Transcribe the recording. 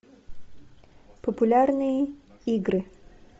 популярные игры